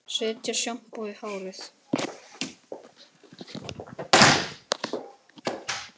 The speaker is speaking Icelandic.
Setja sjampó í hárið?